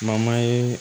ye